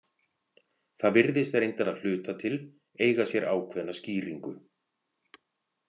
Það virðist reyndar að hluta til eiga sér ákveðna skýringu.